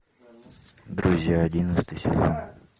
друзья одиннадцатый сезон